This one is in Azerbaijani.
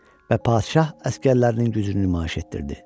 Və padşah əsgərlərinin gücünü nümayiş etdirdi.